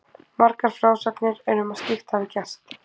Margar frásagnir eru um að slíkt hafi gerst.